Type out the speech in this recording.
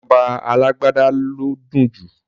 Ìjọba alágbádá ló dùn jù